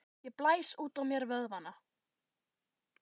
Ég blæs út á mér vöðvana.